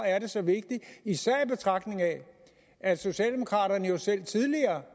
er det så vigtigt især i betragtning af at socialdemokraterne jo selv tidligere